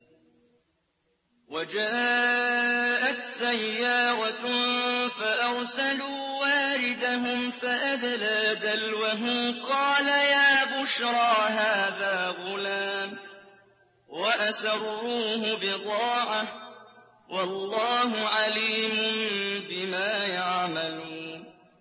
وَجَاءَتْ سَيَّارَةٌ فَأَرْسَلُوا وَارِدَهُمْ فَأَدْلَىٰ دَلْوَهُ ۖ قَالَ يَا بُشْرَىٰ هَٰذَا غُلَامٌ ۚ وَأَسَرُّوهُ بِضَاعَةً ۚ وَاللَّهُ عَلِيمٌ بِمَا يَعْمَلُونَ